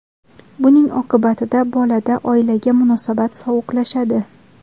Buning oqibatida bolada oilaga munosabat sovuqlashadi.